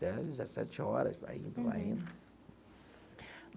Dezessete horas, vai indo, vai indo.